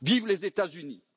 Vivent les États Unis.